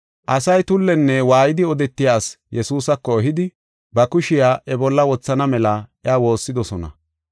Asay tullenne waayidi odetiya asi Yesuusako ehidi, ba kushiya iya bolla wothana mela iya woossidosona.